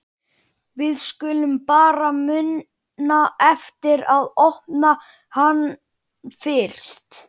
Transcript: Við skulum bara muna eftir að opna hann fyrst!